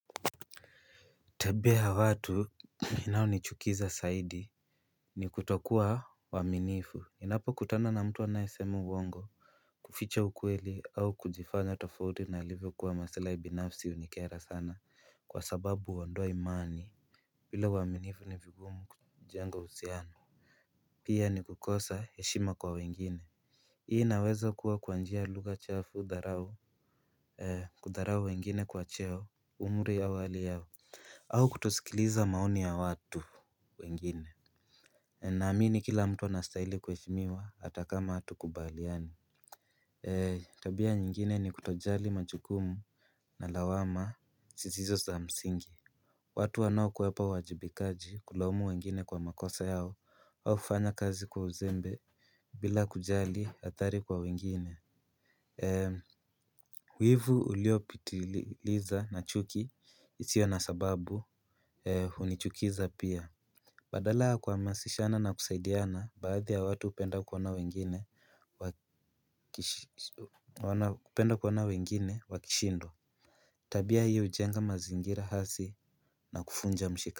Tebia ya watu inaonichukiza saidi. Ni kutokua waaminifu ninapo kutana na mtu anayesema uwongo. Kuficha ukweli au kujifanya tofauti na alivyo kuwa maslai binafsi unikera sana kwa sababu uondoa imani bila uaminifu ni vigumu kujenga uhusiano. Pia ni kukosa heshima kwa wengine. Hii inaweza kuwa kwa njia lugha chafu dharau ee kudharau wengine kwa cheo umri ya hali yao. Au kutosikiliza maoni ya watu wengine. Naamini kila mtu anastahili kuheshimiwa hata kama hatukubaliani. Tabia nyingine ni kutojali majukumu na lawama zisizo za msingi. Watu wanaokwepa uwajibikaji kulaumu wengine kwa makosa yao au kufanya kazi kwa uzembe. Bila kujali athari kwa wengine eem wivu uliopitiliza na chuki isio na sababu e hunichukiza pia badala ya kuhamasishana na kusaidiana baadhi ya watu hupenda kuona wengine hupenda kuona wengine wakishindwa. Tabia hii hujenga mazingira hasi na kuvunja mshika.